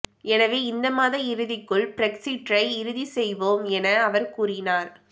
எனவே இந்த மாத இறுதிக்குள் பிரெக்ஸிற்றை இறுதி செய்வோம் என அவர் கூறினார்